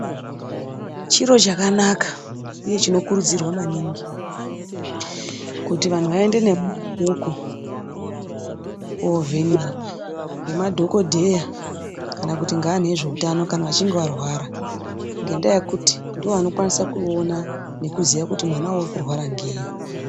Chiro chakanaka uye chinokuridzirwa maningi kuti vantu vaende neana vadoko koovhenekwa nemadhokodheya kana kuti ngevantu vezveutano kana vachinge varwara ngendaa yekuti ndivo vanokwanisa kuona nekuziya kuti mwana urikurwara ngei